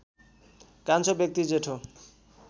कान्छो व्यक्ति जेठो